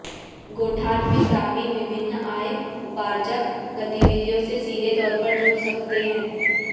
गोठान में ग्रामीण विभिन्न आय उपार्जक गतिविधियों से सीधे तौर पर जुड़ सकते हैं